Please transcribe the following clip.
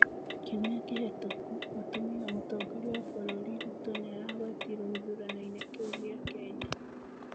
Kiumĩa kĩhetũku, mũtumia wa mũtomgoria wa bũrũri Ruto nĩ aragwetirwo gĩthuraninĩ kĩu gĩa Kenya.